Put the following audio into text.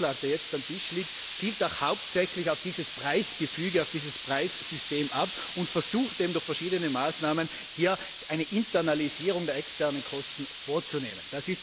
Dieser Vorschlag, der jetzt auf dem Tisch liegt, zielt doch hauptsächlich auf dieses Preisgefüge, auf dieses Preissystem ab und versucht, durch verschiedene Maßnahmen eine Internalisierung der externen Kosten vorzunehmen.